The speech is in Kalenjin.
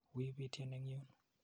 Wi pityen eng' yun.